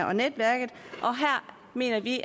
og netværket og her mener vi